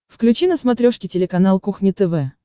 включи на смотрешке телеканал кухня тв